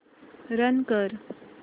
run कर